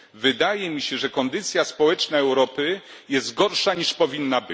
Wydaje mi się, że kondycja społeczna Europy jest gorsza, niż powinna.